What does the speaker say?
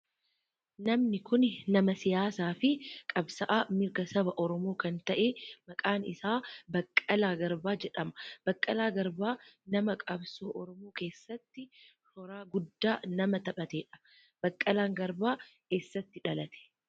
Namni kun nama siyaasaa fi qabsa'aa mirga saba oromoo kan ta'e maqaan isaa Baqqalaa Garbaa jedhama. Baqqalaa Garbaa nama qabsoo oromoo keessatti shoora guddaa nama taphatedha. Baqqalaan Garbaa eessatti dhalate?